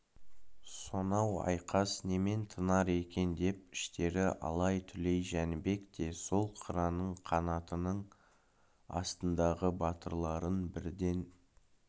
сонау айқас немен тынар екен деп іштері алай-түлей жәнібек те сол қыран қанатының астындағы батырларын бірден